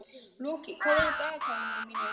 Loki, hvað er í dagatalinu mínu í dag?